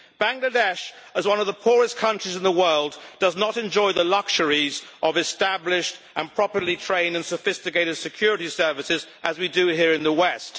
Bangladesh, as one of the poorest countries in the world, does not enjoy the luxuries of established and properly trained and sophisticated security services as we do here in the West.